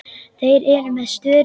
Þeir eru með störu.